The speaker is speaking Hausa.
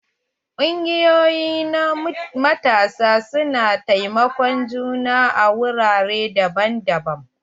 Kungiyoƴi na matasa su na taimakon juna a wurare daban-daban.